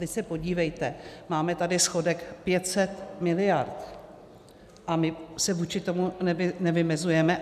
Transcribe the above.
Vy se podívejte - máme tady schodek 500 miliard, a my se vůči tomu nevymezujeme.